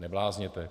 Neblázněte.